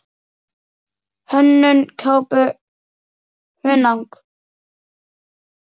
Hönnun kápu: Hunang.